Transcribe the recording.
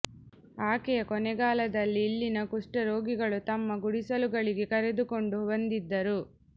ಆಕೆಯ ಕೊನೆಗಾಲದಲ್ಲಿ ಇಲ್ಲಿನ ಕುಷ್ಠ ರೋಗಿಗಳು ತಮ್ಮ ಗುಂಡಿಸಲುಗಳಿಗೆ ಕರೆದುಕೊಂಡು ಬಂದಿದ್ದರು